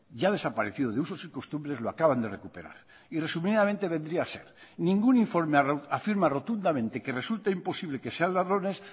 ya desaparecido de usos y costumbres lo acaban de recuperar y resumidamente vendría a ser ningún informe afirma rotundamente que resulta imposible que sean ladrones